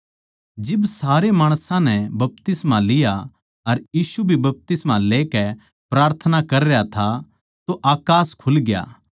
जिब सारे माणसां नै बपतिस्मा लिया अर यीशु भी बपतिस्मा लेकै प्रार्थना कर रह्या था तो अकास खुलग्या